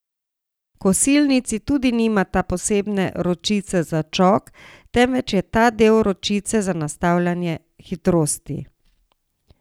Kosilnici tudi nimata posebne ročice za čok, temveč je ta del ročice za nastavljanje hitrosti.